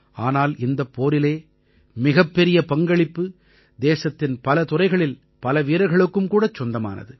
ஆனால் இந்தப் போரிலே மிகப்பெரிய பங்களிப்பு தேசத்தின் பல துறைகளில் பல வீரர்களுக்கும் கூடச் சொந்தமானது